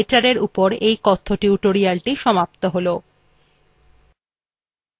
এখানেই libreoffice writerএর এই কথ্য tutorialthe সমাপ্ত হল